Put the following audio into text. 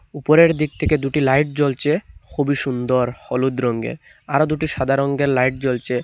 উপরের দিক থেকে দুটি লাইট জ্বলছে খুবই সুন্দর হলুদ রঙ্গের আরও দুটি সাদা রঙ্গের লাইট জ্বলছে।